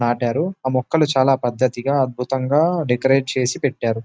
నాటారు ఆ మొక్కలు చాలా పద్ధతిగా అద్భుతంగా డెకరేట్ చేసి పెట్టారు.